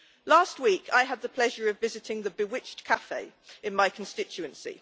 Last week, I had the pleasure of visiting the Bewiched Cafe in my constituency.